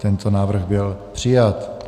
Tento návrh byl přijat.